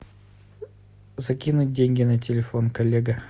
закинуть деньги на телефон коллега